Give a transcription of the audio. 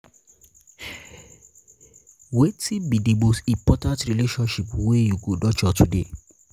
wetin be di most important relationship wey you go nurture today?